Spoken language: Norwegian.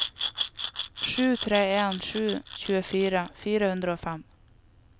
sju tre en sju tjuefire fire hundre og fem